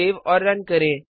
save और run करें